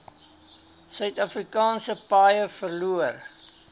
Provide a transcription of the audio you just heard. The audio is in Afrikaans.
suidafrikaanse paaie verloor